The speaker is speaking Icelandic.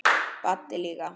Baddi líka.